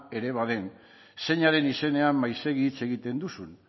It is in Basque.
ere baden zeinaren izenean maizegi hitz egiten duzun